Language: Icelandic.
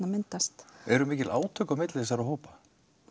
myndast eru mikil átök á milli þessara hópa